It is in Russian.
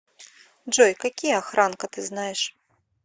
джой какие охранка ты знаешь